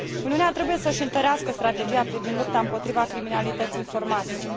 Uniunea trebuie să și întărească strategia privind lupta împotriva criminalității informatice.